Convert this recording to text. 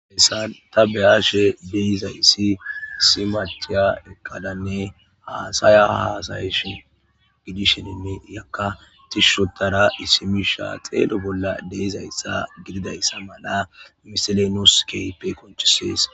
hessan ta beyashe deyizayssi simachiya ekkadanne haasaya hasayishin gidisheninni yakka tishshotara isimisha xeelo bolla deyizayssa gididayssa mana miselenoskeppe konchisees